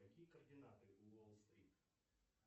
какие координаты у уолл стрит